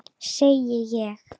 Segi ég.